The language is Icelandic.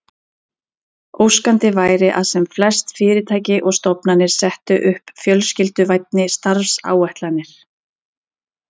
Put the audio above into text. Óskandi væri að sem flest fyrirtæki og stofnanir settu upp fjölskylduvænni starfsáætlanir.